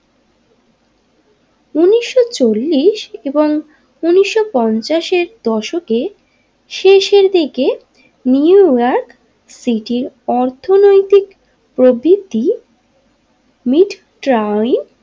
চল্লিশ এবং উনিশশো পঞ্চাশের দশকে শেষের দিকে নিউ ইয়র্ক সিটির অর্থনৈতিক প্রবৃত্তি মিট ট্রাই।